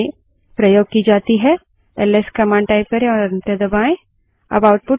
ls command type करें और enter दबायें